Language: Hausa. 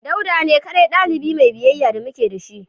Dauda ne kadai dalibi Mai biyayya da muke da shi